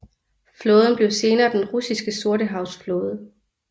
Flåden blev senere den russiske Sortehavs Flåde